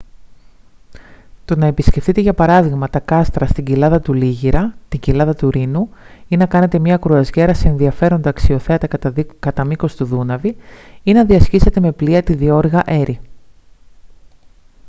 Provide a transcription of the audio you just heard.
το να επισκεφθείτε για παράδειγμα τα κάστρα στην κοιλάδα του λίγηρα την κοιλάδα του ρήνου ή να κάνετε μια κρουαζιέρα σε ενδιαφέροντα αξιοθέατα κατά μήκος του δούναβη ή να διασχίσετε με πλοία τη διώρυγα έρι